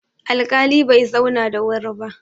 alƙali Bai zauna da wuri ba